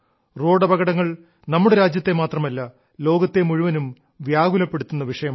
റോഡപകടങ്ങൾ നമ്മുടെ രാജ്യത്തെ മാത്രമല്ല ലോകത്തെ മുഴുവനും വ്യാകുലപ്പെടുത്തുന്ന വിഷയമാണ്